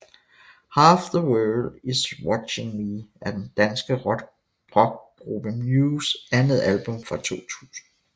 Half The World is Watching Me er den danske rockgruppe Mews andet album fra 2000